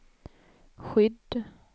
skydd